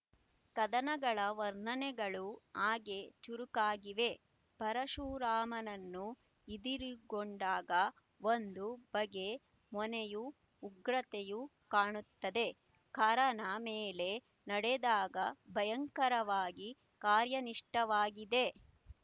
ಕದನಗಳ ವರ್ಣನೆಗಳೂ ಹಾಗೆ ಚುರುಕಾಗಿವೆ ಪರಶುರಾಮನನ್ನು ಇದಿರುಗೊಂಡಾಗ ಒಂದು ಬಗೆ ಮೊನೆಯೂ ಉಗ್ರತೆಯೂ ಕಾಣುತ್ತದೆ ಖರನ ಮೇಲೆ ನಡೆದಾಗ ಭಯಂಕರವಾಗಿ ಕಾರ್ಯನಿಷ್ಠವಾಗಿದೆ